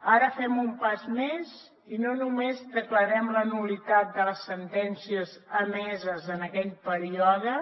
ara fem un pas més i no només declarem la nul·litat de les sentències emeses en aquell període